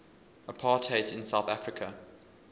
apartheid south africa